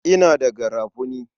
Ina da garafuni.